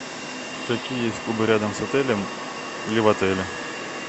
какие есть клубы рядом с отелем или в отеле